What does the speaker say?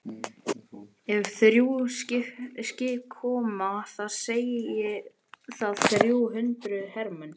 Ef þrjú skip koma þá segir það þrjú hundruð hermenn.